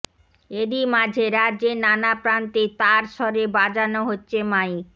এরই মাঝে রাজ্যের নানা প্রান্তে তারস্বরে বাজানো হচ্ছে মাইক